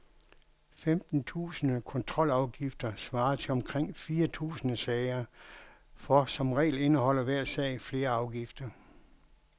Femten tusinde kontrolafgifter svarer til omkring fire tusinde sager, for som regel indeholder hver sag flere afgifter.